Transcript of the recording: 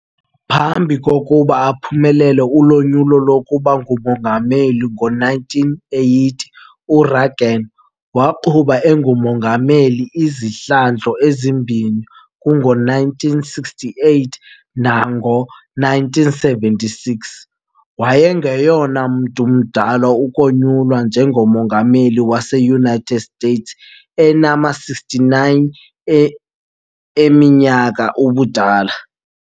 Phambi kokuba aphumelele unyulo lokuba ngumongameli kngo-1980, U-Reagan waqhuba engumongameli izihlandlo ezimbini kungo-1968 nak ngo-1976. Wayengoyena mntu mdala ukonyulwa nje ngomongameli waseUnited States enama-69 eminyaka ubudala.